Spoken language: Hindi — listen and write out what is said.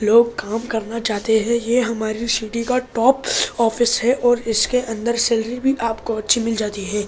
लोग काम करना चाहते है ये हमारी सिटी का टॉप ऑफिस है और इसके अंदर सैलरी भी आपको अच्‍छी मिल जाती है ।